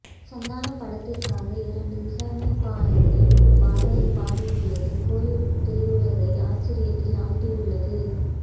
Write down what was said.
சந்தானம் படத்திற்காக இரண்டு இசையமைப்பாளர்கள் ஒரு பாடலை பாடி உள்ளது கோலிவுட் திரையுலகை ஆச்சரியத்தில் ஆழ்த்தியுள்ளது